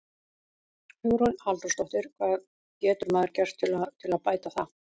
Hugrún Halldórsdóttir: Hvað getur maður gert til að, til að bæta það?